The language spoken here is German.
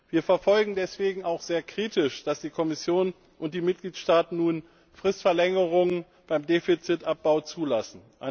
Wir verfolgen deswegen auch sehr kritisch, dass die Kommission und die Mitgliedstaaten nun eine Fristverlängerung beim Defizitabbau zulassen.